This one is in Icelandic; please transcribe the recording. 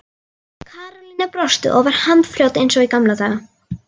Karólína brosti og var handfljót eins og í gamla daga.